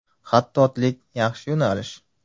Xattotlik yaxshi yo‘nalish.